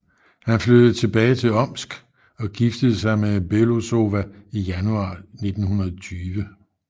Han flyttede tilbage til Omsk og giftede sig med Belousova i januar 1920